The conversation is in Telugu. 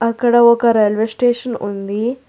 అక్కడ ఒక రైల్వే స్టేషన్ ఉంది.